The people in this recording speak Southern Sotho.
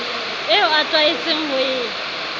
eo a tlwaetseng ho e